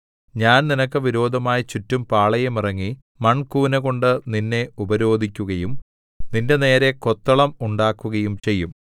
ഞാൻ നിനക്ക് വിരോധമായി ചുറ്റും പാളയമിറങ്ങി മൺകൂനകൊണ്ട് നിന്നെ ഉപരോധിക്കുകയും നിന്റെനേരെ കൊത്തളം ഉണ്ടാക്കുകയും ചെയ്യും